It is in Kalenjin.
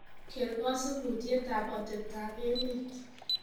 keer kosibutietab atebtab emet